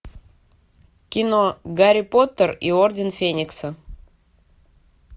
кино гарри поттер и орден феникса